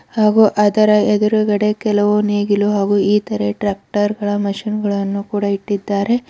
ಹಾಗೂ ಅದರ ಎದುರುಗಡೆ ಕೆಲವು ನೇಗಿಲು ಹಾಗೂ ಇತರೆ ಟ್ರ್ಯಾಕ್ಟರ್ ಗಳ ಮಿಷನ್ ಗಳನ್ನು ಕೂಡ ಇಟ್ಟಿದ್ದಾರೆ.